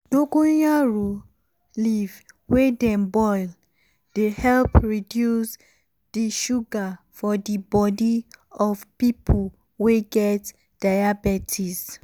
dongoyaro um leaf wey dem boil dey help reduce di sugar for di body of pipo wey get diabetes.